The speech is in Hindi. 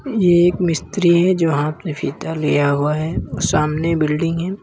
ये एक मिस्त्री है जो हाथ में फीता लिया हुआ है और सामने एक बिल्डिंग है।